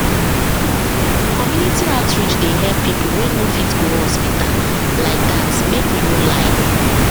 pause community outreach dey help people wey no fit go hospital like that make we no lie